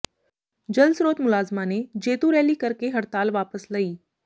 ਜਲ ਸਰੋਤ ਮੁਲਾਜ਼ਮਾਂ ਨੇ ਜੇਤੂ ਰੈਲੀ ਕਰ ਕੇ ਹੜਤਾਲ ਵਾਪਸ ਲਈ